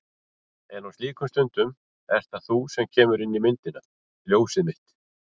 En á slíkum stundum ert það þú sem kemur inn í myndina. ljósið mitt.